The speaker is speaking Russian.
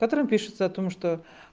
в котором пишется о том что